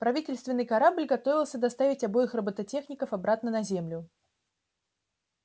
правительственный корабль готовился доставить обоих роботехников обратно на землю